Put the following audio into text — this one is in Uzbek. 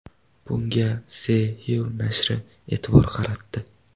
Bunga The Hill nashri e’tibor qaratdi.